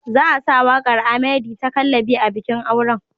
Za a sa waƙar Ahmerdy ta "Kallabi" a bikin auren.